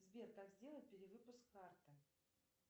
сбер как сделать перевыпуск карты